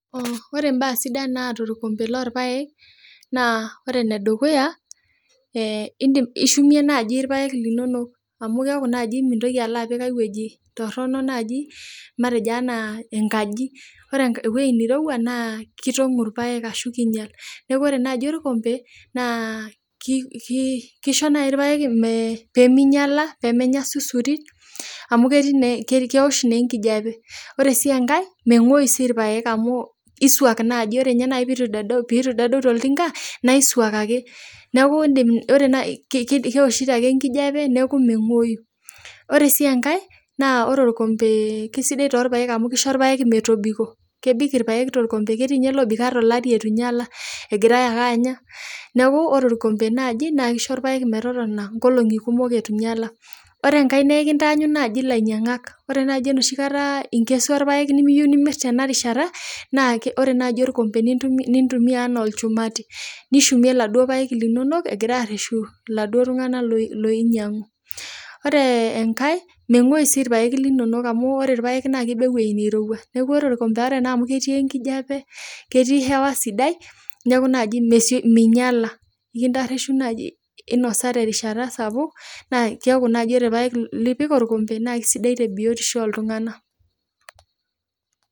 Ore imbaa sidan naata orkompe lorpaek, naa ore enedukuya, ishumie nai irpaek linonok, amu keeku naji mintoki alo apik enkae wueji torronok naji, matejo enaa enkaji. Ore ewoi nirowua, naa kitong'u irpaek ashu kinyal. Neeku ore naji orkompe, naa kisho nai irpaek peminyala, pemenya susuri, amu ketii nee kewosh naa enkijape. Ore si enkae, meng'oyu si irpaek amu isuaki nai. Ore nye nai pitu dedeu toltinka, naisuak ake. Neeku idim ore nai kewoshito ake enkijape, neeku meng'oyu. Ore si enkae, naa ore orkompe kesidai torpaek amu kisho irpaek metobiko. Kebik irpaek torkompe ketii nye lobik ata olari eitu nyala egirai ake anya. Neeku ore orkompe naji na kisho irpaek metotona nkolong'i kumok eitu nyala. Ore enkae nekintaanyu naji ilainyang'ak. Ore naji enoshi kata inkesua irpaek nimiyieu nimir tenarishata, naa ore naji orkompe nintumia enaa olchumati. Nishumie laduo paek linonok egira arreshu laduo tung'anak loinyang'u. Ore enkae, meng'oyu si irpaek linonok amu ore irpaek naa kiba ewei nirowua. Neeku ore orkompe ore naa amu ketii enkijape, ketii hewa sidai, neku naji minyala. Ekintarreshu naji nosa terishata sapuk, na keeku naji ore irpaek lipik orkompe, na kesidai tebiotisho oltung'anak.